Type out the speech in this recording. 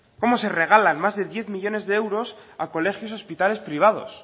cómo se regalan más de diez millónes de euros a colegios y hospitales privados